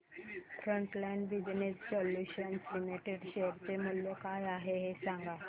frontline business solutions limited share चे मूल्य काय आहे हे सांगा